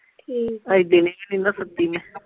ਠੀਕ ਆ ਅੱਜ ਦਿਨੇ ਵੀ ਨਹੀਂ ਨਾ ਸੁੱਤੀ ਮੈਂ।